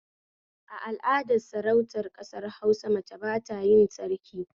A al'adar Sarautar ƙasar Hausa mace batayin Sarki